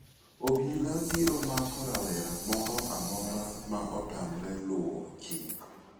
Obila biro mako rawera moro amora ma otamore luwo chik.